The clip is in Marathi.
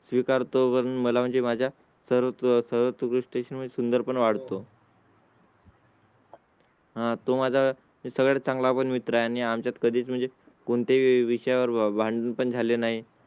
स्वीकार तो. पण मला म्हणजे माझ्या सर्व तू स्टेशन मध्ये सुंदर पण वाढ तो. हां तो माझा सगळ्यात चांगला पण मित्र आणि आमच्यात कधीच म्हणजे कोणत्याही विषयावर भांडण झाले नाही